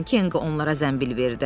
Kenqo onlara zənbil verdi.